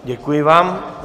Děkuji vám.